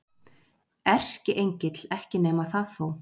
Erkiengill, ekki nema það þó.